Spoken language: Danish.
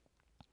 DR2